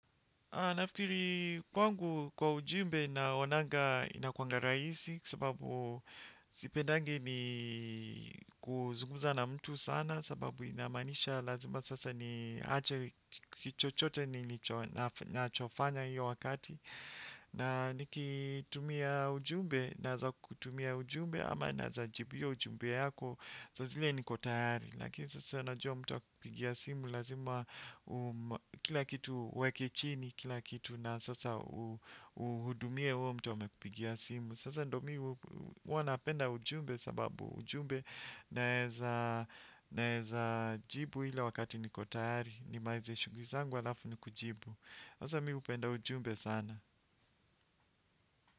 Nafikiri kwangu kwa ujumbe naonanga inakuanga rahisi kwa sababu sipendangi ni kuzungumza na mtu sana sababu inamaanisha lazima sasa ni ache kitu chochote ninachofanya hiyo wakati na nikitumia ujumbe naweza kutumia ujumbe ama naweza jibu hiyo ujumbe yako sa zile niko tayari. Lakini sasa unajua mtu akikupigia simu lazima kila kitu uweke chini kila kitu na sasa uhudumie huyo mtu amekupigia simu. Sasa ndio mimi huwa napenda ujumbe sababu ujumbe naeza naeza jibu ile wakati niko tayari ni malize shughuli zangu alafu nikujibu. Sasa mimi hupenda ujumbe sana.